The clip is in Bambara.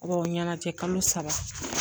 o ɲɛnajɛ kalo saba